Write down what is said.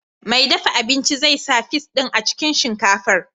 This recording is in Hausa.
Mai dafa abincin zai sa fis din a cikin shinkafar.